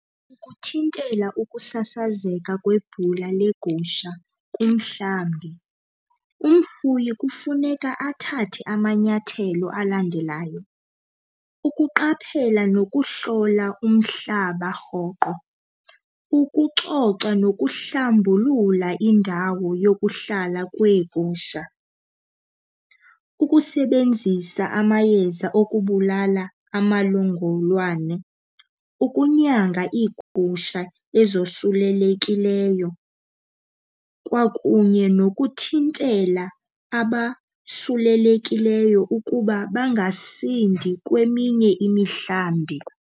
Ukuthintela ukusasazeka kwebhula legusha kumhlambi umfuyi kufuneka athathe amanyathelo alandelayo. Ukuqaphela nokuhlola umhlaba rhoqo, ukucoca nokuhlambulula indawo yokuhlala kweegusha, ukusebenzisa amayeza okubulala amalongolwane, ukunyanga iigusha ezosulelekileyo kwakunye nokuthintela abasulelekileyo ukuba bangasindi kweminye imihlambi.